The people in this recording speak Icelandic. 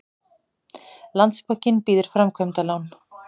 Landsbankinn býður framkvæmdalán